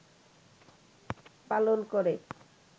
পালন করে